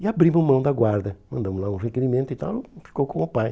E abrimos mão da guarda, mandamos lá um requerimento e tal, ficou com o pai.